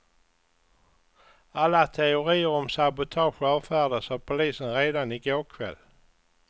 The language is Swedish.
Alla teorier om sabotage avfärdades av polisen redan i går kväll.